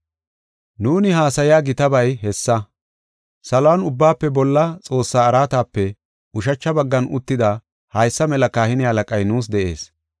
Nuuni haasaya gitabay hessa. Saluwan Ubbaafe Bolla Xoossaa araatape ushacha baggan uttida haysa mela kahine halaqay nuus de7ees.